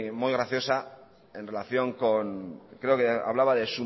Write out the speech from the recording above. muy graciosa en relación con creo que hablaba de